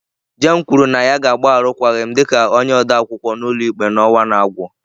Jane kwuru na ya ga-agba arụkwaghịm dị ka onye odeakwụkwọ ụlọikpe n'ọnwa a na-agwụ.